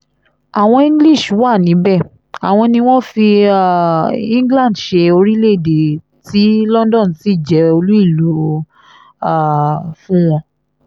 àwọn english wà níbẹ̀ àwọn ni wọ́n fi um england ṣe orílẹ̀-èdè tí london sì jẹ́ olú ìlú um fún wọn